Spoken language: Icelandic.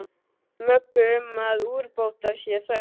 Möggu um að úrbóta sé þörf.